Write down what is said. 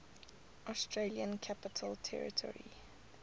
australian capital territory